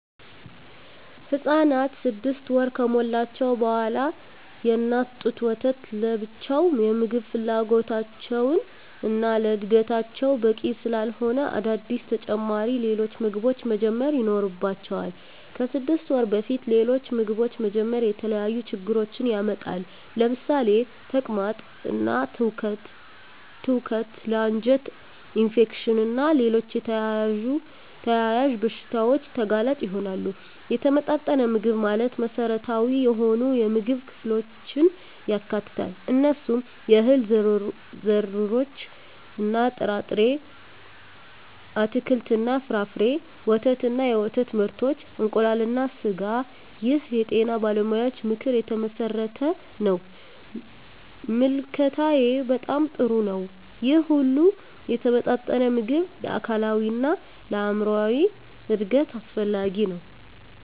ህፃናት 6 ወር ከሞላቸው በዋላ የእናት ጡት ወተት ለብቻው የምግብ ፍላጎታቸውን እና ለዕድገታቸው በቂ ስላለሆነ አዳዲስ ተጨማሪ ሌሎች ምግቦችን መጀመር ይኖርባቸዋል። ከ6 ወር በፊት ሌሎች ምግቦችን መጀመር የተለያዩ ችግሮችን ያመጣል ለምሳሌ ተቅማጥ እና ትውከት ለ አንጀት ኢንፌክሽን እና ሌሎች ተያያዝ በሺታዎች ተጋላጭ ይሆናሉ። የተመጣጠነ ምግብ ማለት መሰረታዊ የሆኑ የምግብ ክፍሎችን ያካትታል። እነሱም፦ የእህል ዘርሮች እና ጥርጣሬ፣ አትክልት እና ፍራፍሬ፣ ወተት እና የወተት ምርቶች፣ እንቁላል እና ስጋ ይህ የጤና ባለሙያዎች ምክር የተመሠረተ ነው። ምልከታዬ በጣም ጥሩ ነው ይህ ሁሉ የተመጣጠነ ምግብ ለአካላዊ እና ለአይምራዊ እድገት አስፈላጊ ነው።